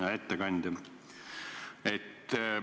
Hea ettekandja!